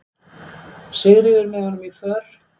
Sigríður, með honum í för.